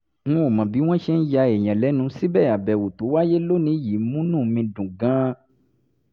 n ò mọ̀ bí wọ́n ṣe ń ya èèyàn lẹ́nu síbẹ̀ àbẹ̀wò tó wáyé lónìí yìí múnú mi dùn gan-an